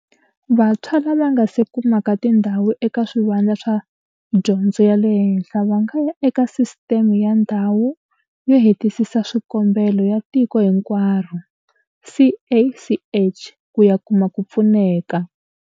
Vantshwa lava nga se kumaka tindhawu eka swivandla swa dyondzo ya le henhla va nga ya eka Sisiteme ya Ndhawu yo Hetisisa Swikombelo ya Tiko Hinkwaro, CACH, ku ya kuma ku pfuneka.